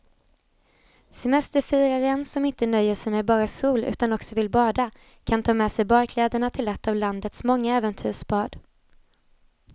Semesterfiraren som inte nöjer sig med bara sol utan också vill bada kan ta med sig badkläderna till ett av landets många äventyrsbad.